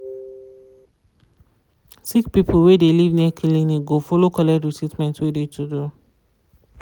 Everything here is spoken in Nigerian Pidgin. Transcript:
sick people wey de live near kilinic go follow collect treatment wey de to do.